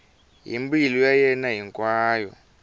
hi mbilu ya yena hinkwayo